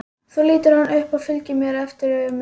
Svo lítur hann upp og fylgir mér eftir með augunum.